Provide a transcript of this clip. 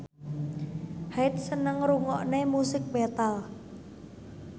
Hyde seneng ngrungokne musik metal